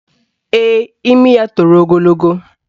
Ee, imi ya toro ogologo